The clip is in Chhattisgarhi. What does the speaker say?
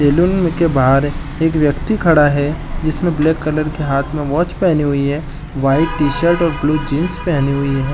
सैलून में के बाहर एक व्यक्ति खड़ा है जिसने ब्लैक कलर के हाथ में वॉच पहनी हुई है वाइट टी शर्ट और ब्लू जीन्स पहनी हुई है।